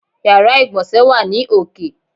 Yàrá ìgbọ̀nsé wà ní òkè.